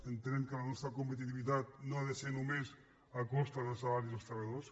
entenem que la nostra compe·titivitat no ha de ser només a costa dels salaris dels treballadors